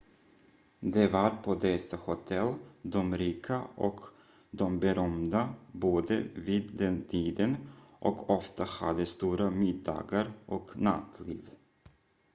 det var på dessa hotell de rika och de berömda bodde vid den tiden och ofta hade stora middagar och nattliv